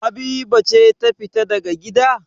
Habiba ce ta fita daga gida?